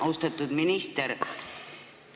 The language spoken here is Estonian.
Austatud minister!